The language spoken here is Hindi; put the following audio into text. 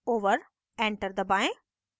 enter दबाएं